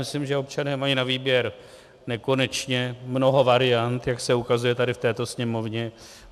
Myslím, že občané mají na výběr nekonečně mnoho variant, jak se ukazuje tady v této Sněmovně.